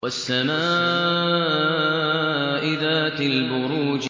وَالسَّمَاءِ ذَاتِ الْبُرُوجِ